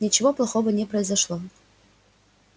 ничего плохого не произошло